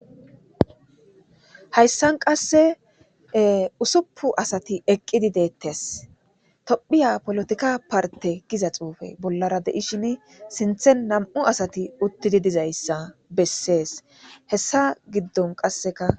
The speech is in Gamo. hayssan qasse usuppu asati eqqidi deettes tophiya polotika parte giza xuufe bollara deishin sinthen nam7u asati uttidi dizayssa bessees hessa giddon qasseka